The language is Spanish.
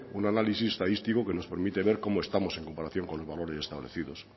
un análisis estadístico que nos permite ver cómo estamos en comparación con los valores establecidos